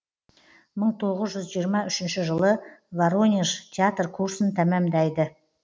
мың тоғыз жүз жиырма үшінші жылы воронеж театр курсын тәмамдайды